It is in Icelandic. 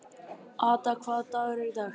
Ada, hvaða dagur er í dag?